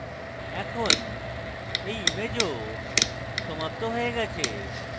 এখন এই ইমেজও সমাপ্ত হয়ে গেছে